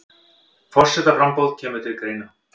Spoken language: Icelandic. Forsetaframboð kemur til greina